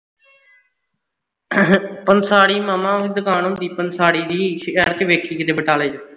ਪੰਸਾਰੀ ਮਾਮਾ ਉਹਦੀ ਦੁਕਾਨ ਹੁੰਦੀ ਪੰਸਾਰੀ ਦੀ ਸ਼ਹਿਰ ਵਿਚ ਦੇਖੀ ਕਿਤੇ ਬਟਾਲੇ